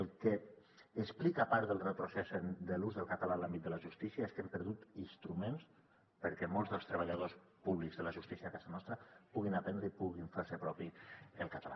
el que explica part del retrocés de l’ús del català en l’àmbit de la justícia és que hem perdut instruments perquè molts dels treballadors públics de la justícia a casa nostra puguin aprendre i puguin fer se propi el català